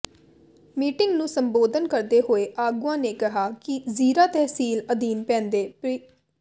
meeting ਨੂੰ ਸੰਬੋਧਨ ਕਰਦੇ ਹੋਏ ਆਗੂਆਂ ਨੇ ਕਿਹਾ ਕਿ ਜ਼ੀਰਾ ਤਹਿਸੀਲ ਅਧੀਨ ਪੈਂਦੇ ਪਿੰ